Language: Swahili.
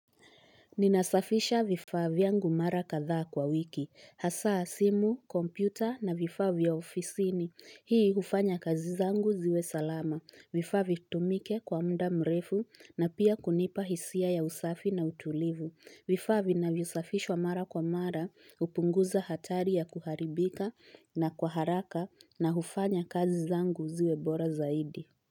Ninasafisha vifaa vyangu mara kadhaa kwa wiki. Hasa simu, kompyuta na vifaa vya ofisini. Hii hufanya kazi zangu ziwe salama. Vifaa vitumike kwa muda mrefu na pia kunipa hisia ya usafi na utulivu. Vifaa vinavyo safishwa mara kwa mara, hupunguza hatari ya kuharibika na kwa haraka na hufanya kazi zangu ziwe bora zaidi.